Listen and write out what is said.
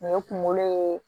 O ye kunkolo ye